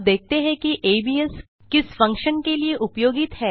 अब देखते हैं कि एबीएस किस फंक्शन के लिए उपयोगित है